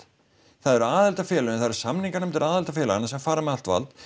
það eru aðildarfélögin það eru samninganefndir aðildarfélaganna sem fara með allt vald